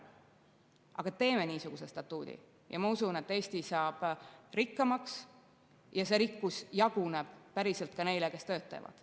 Aga teeme niisuguse statuudi ja ma usun, et Eesti saab rikkamaks ja see rikkus jaguneb päriselt ka neile, kes töötavad.